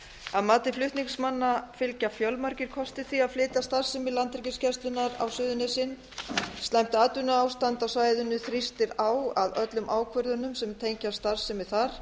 að mati flutningsmanna fylgja fjölmargir kostir því að flytja starfsemi landhelgisgæslunnar á suðurnesin slæmt atvinnuástand á svæðinu þrýstir á að öllum ákvörðunum sem tengjast starfsemi þar